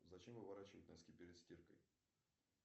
зачем выворачивать носки перед стиркой